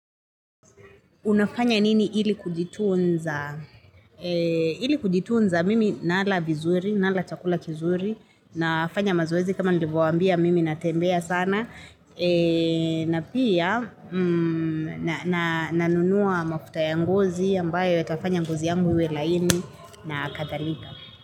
Unafanya nini ili kujitunza? Ili kujitunza mimi nala vizuri, nala chakula kizuri, nafanya mazoezi kama nilivyowambia mimi natembea sana, na pia nanunua mafuta ya ngozi ambayo yatafanya ngozi yangu iwe laini na akadhalika.